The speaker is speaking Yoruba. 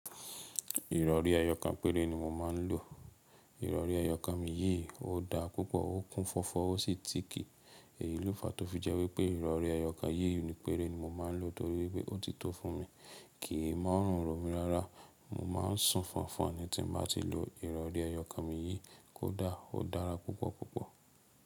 Ìrọ̀rí eyọ kàn péré ni mo máa ń lò. Ìrọ̀rí eyọ kàn mi yìí ò dá púpọ̀, ó kún fọ́fọ́ ó sì tìkì. Eyí ló fà tó fi jẹ́ wí pé ìrọ̀rí ẹyọ kan yìí ni péré ni mo máa ń lò, torí pé ó ti tó fún mi, kì í mú ọ̀rùn ro mí rárá. Mo má ń sùn fọnfọn ni tí n bá ti lo ìrọ̀rí eyọ kàn mi yìí kó dà, ó dára púpọ̀ púpọ̀.